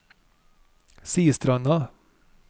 Sistranda